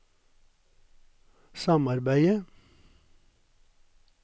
samarbeidet